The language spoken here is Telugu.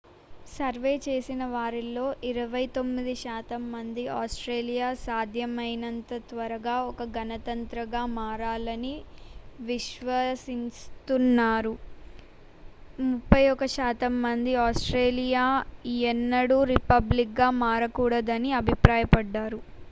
సర్వే చేసిన వారిలో 29 శాతం మంది ఆస్ట్రేలియా సాధ్యమైనంత త్వరగా ఒక గణతంత్రంగా మారాలని విశ్వసిస్తున్నారు 31 శాతం మంది ఆస్ట్రేలియా ఎన్నడూ రిపబ్లిక్ గా మారకూడదని అభిప్రాయపడ్డారు